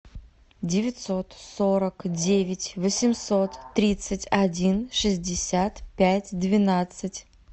девятьсот сорок девять восемьсот тридцать один шестьдесят пять двенадцать